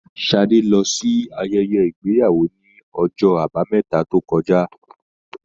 Sadé lọ sí ayẹyẹ ìgbéyàwó ní ọjọ àbámẹ́ta tó kọjá.